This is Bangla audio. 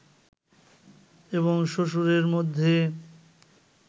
এবং শ্বশুরের মধ্যে